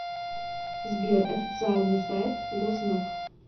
сбер официальный сайт гознак